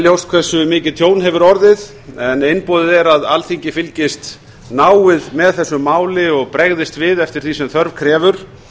ljóst hversu mikið tjón hefur orðið en einboðið er að alþingi fylgist náið með þessu máli og bregðist við eftir því sem þörf krefur